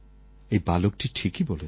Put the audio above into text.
এই বালকটি ঠিকই বলেছে